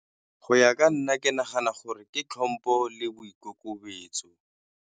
Go ya ka nna ke nagana gore ke tlhompho le boikokobetso.